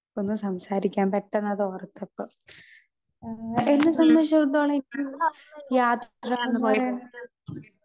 Speaker 2 ഒന്ന് സംസാരിക്കാം പെട്ടന്നതോർത്തപ്പൊ. എന്നെ സംബന്ധിച്ചിടത്തോളം ഇത് യാത്രാന്ന് പറീണത്